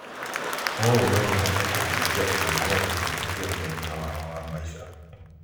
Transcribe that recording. ũũ no ũhote kũhutia ĩmwe kwa ĩmwe ũciarithania wao wa maica.